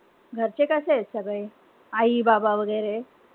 घरचे कशेत सगळे? आई-बाबा वैगेरे?